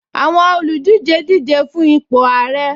Àwọn olùdíje díje fun ipò ààrẹ